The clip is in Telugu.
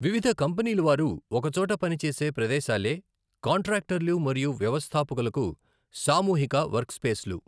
వివిధ కంపనీలవారు ఒకచోట పని చేసే ప్రదేశాలే కాంట్రాక్టర్లు మరియు వ్యవస్థాపకులకు సామూహిక వర్క్స్పేస్లు.